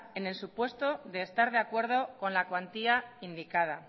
en el supuesto de estar de acuerdo con la cuantía indicada